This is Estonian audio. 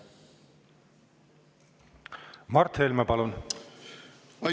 Mart Helme, palun!